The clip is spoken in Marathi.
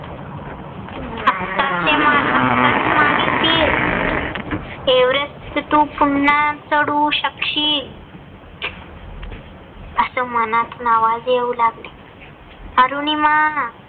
आताच मागे फिर. एव्हरेस्ट तू पुन्हा चढू शकशील. अस मनातून आवाज येवू लागले. अरुनिमा